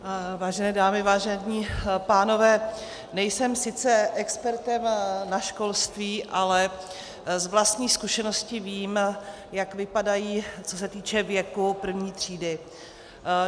Vážené dámy, vážení pánové, nejsem sice expertem na školství, ale z vlastní zkušenosti vím, jak vypadají, co se týče věku, první třídy.